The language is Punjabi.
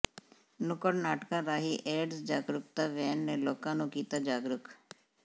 ਨੁੱਕੜ ਨਾਟਕਾਂ ਰਾਹੀਂ ਏਡਜ਼ ਜਾਗਰੂਕਤਾ ਵੈਨ ਨੇ ਲੋਕਾਂ ਨੂੰ ਕੀਤਾ ਜਾਗਰੂਕ